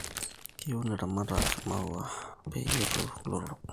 keun ilaramatak imaua peyetu lotorok